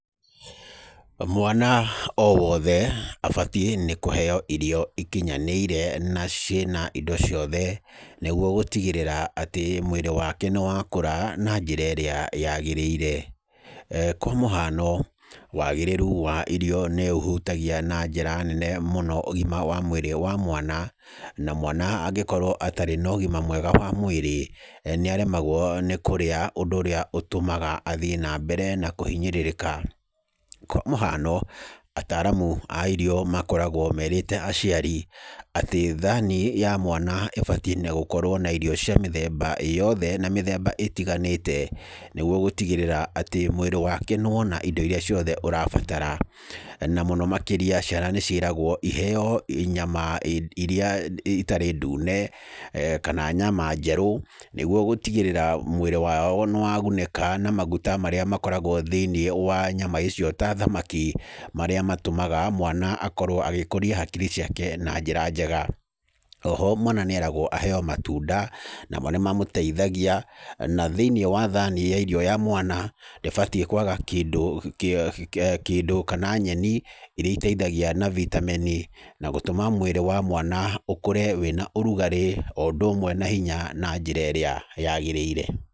Mwana o wothe abatiĩ nĩ kũheo irio ikinyanĩire na ciĩna indo ciothe nĩguo gũtigĩrĩra atĩ mwĩrĩ wake nĩwakũra na njĩra ĩrĩa yagĩrĩire. Kwa mũhano, wagĩrĩru wa irio nĩũhutagia na njĩra nene mũno ũgima wa mwĩrĩ wa mwana na mwana angĩkorwo atarĩ na ũgima mwega wa mwĩrĩ nĩaremagwo nĩ kũrĩa, ũndũ ũrĩa ũtũmaga athiĩ na mbere na kũhinyĩrĩrĩka. Kwa mũhano, ataramu a irio makoragwo merĩte aciari atĩ thani ya mwana ĩbatiĩ gũkorwo na irio cia mĩthemba yothe na mĩthemba ĩtiganĩte nĩguo gũtigĩrĩra atĩ mwĩrĩ wake nĩwona indo iria ciothe ũrabatara. Na mũno makĩria ciana nĩciĩragwo ciheywo nyama ĩrĩa ĩtarĩ ndune kana nyama njerũ nĩguo gũtigĩrĩra mwĩrĩ wao nĩwagunĩka na maguta marĩa makoragwo thĩinĩ wa nyama icio, ta thamaki marĩa matũmaga mwana akorwo agĩkũria hakiri ciake na njĩra njega. Na oho mwana nĩeragwo aheywo matunda namo nĩmamũteithagia. Na thĩinĩ wa thani ya irio ya mwana ndĩbatiĩ kwaga kĩndũ kana nyeni ĩrĩa ĩteithagia na bitameni na gũtũma mwĩrĩ wa mwana ũkũre wĩna ũrugarĩ o ũndũ ũmwe na hinya na njĩra ĩrĩa yagĩrĩire.